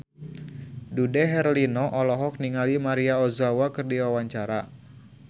Dude Herlino olohok ningali Maria Ozawa keur diwawancara